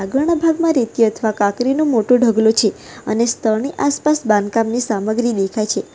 ઘણા ભાગમાં રેતી અથવા કાકરીનું મોટું ઢગલો છે અને સ્થળની આસપાસ બાંધકામની સામગ્રી દેખાય છે.